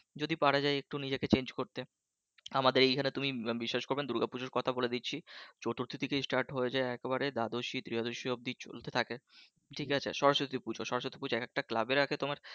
যদি পারা যায় একটু নিজেকে change করতে, আমাদের এখানে তুমি বিশ্বাস করবে না দুর্গাপুজোর কথা বলে দিচ্ছি চতুর্থী থেকে start হয়ে যায় একেবারে দ্বাদশী ত্রয়দশি পর্যন্ত চলতে থাকে ঠিক আছে? সরস্বতী পুজো সরস্বতী পূজা এক একটা ক্লাব এর একেকটা তোমার